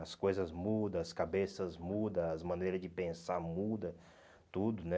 As coisas muda, as cabeças muda, as maneiras de pensar muda, tudo, né?